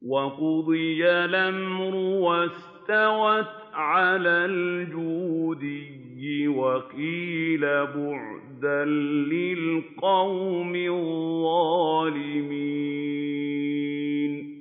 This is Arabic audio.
وَقُضِيَ الْأَمْرُ وَاسْتَوَتْ عَلَى الْجُودِيِّ ۖ وَقِيلَ بُعْدًا لِّلْقَوْمِ الظَّالِمِينَ